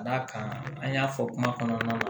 Ka d'a kan an y'a fɔ kuma kɔnɔna na